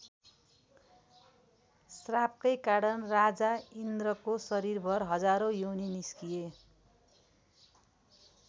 श्रापकै कारण राजा इन्द्रको शरीरभर हजारौँ योनि निस्किए।